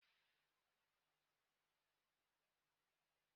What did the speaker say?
Nnu dị mkpa na nri nile.